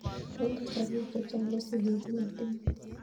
Eng' kasarwek chchang' ko sig'ik ko matinye